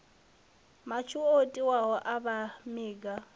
matswu o totiwaho a gamiwa